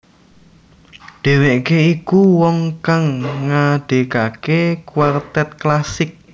Dheweke iku wong kang ngadekake kuartet klasik